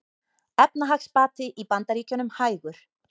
Efnahagsbati í Bandaríkjunum hægur